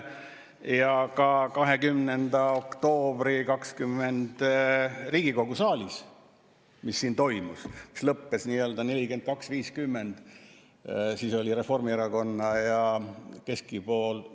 Ja 20. oktoobril 2020 Riigikogu saalis, mis lõppes 42 : 50.